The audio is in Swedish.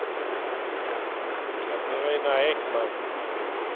Katarina Ekman